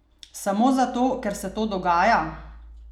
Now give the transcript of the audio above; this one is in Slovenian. Samo zato, ker se to dogaja?